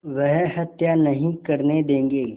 वह हत्या नहीं करने देंगे